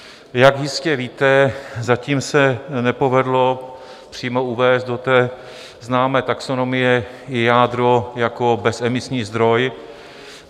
Jak jistě víte, zatím se nepovedlo přímo uvést do té známé taxonomie jádro jako bezemisní zdroj.